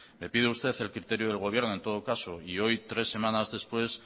me pide usted el criterio del gobierno en todo caso y hoy tres semanas después